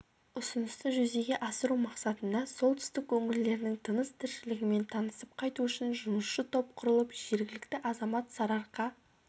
ұсынысты жүзеге асыру мақсатында солтүстік өңірлерінің тыныс-тіршілігімен танысып қайту үшін жұмысшы топ құрылып жергілікті азамат сарыарқа